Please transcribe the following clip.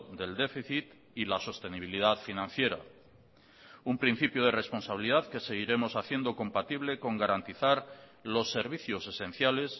del déficit y la sostenibilidad financiera un principio de responsabilidad que seguiremos haciendo compatible con garantizar los servicios esenciales